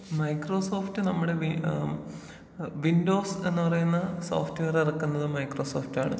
Microsoft നമ്മുടെ ഏഹ് Windows എന്ന് പറയുന്ന സോഫ്റ്റ് വെയർ എറക്കുന്നത് മൈക്രോസോഫ്റ്റാണ്.